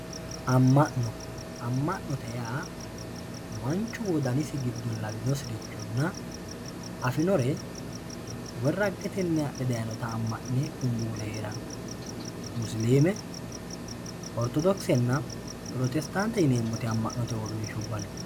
amma'no amma'note yaa manchu wodanisi giddo lawinosirichonna afinore woy raggetenni adhe dayiinota amma'ne kunbuule heeranno musiliime ortodokisenna pirotestaantete yineemmoti amma'note uurrinshsha no